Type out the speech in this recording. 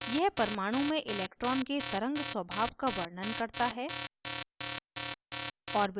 यह परमाणु में electron के तरंग स्वभाव का वर्णन करता है